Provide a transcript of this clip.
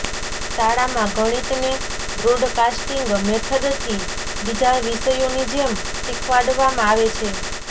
શાળામાં ગણિતને બ્રોડકાસ્ટીંગ મેથડથી બીજા વિષયોની જેમ શીખડાવવામાં આવે છે